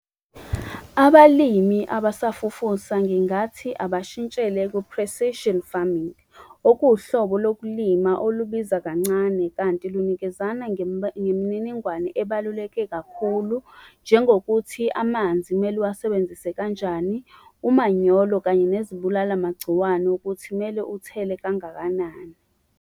Abalimi abasafufusa ngingathi abashintshele ku-precision farming, okuwuhlobo lokulima olubiza kancane, kanti lunikezana ngemininingwane ebaluleke kakhulu. Njengokuthi amanzi kumele uwasebenzise kanjani, umanyolo, kanye nezibulala-magciwane ukuthi kumele uthele kangakanani.